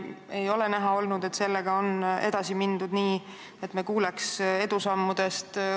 Ei ole näha olnud, et sellega on edasi mindud nii, et me kuuleks edusammudest.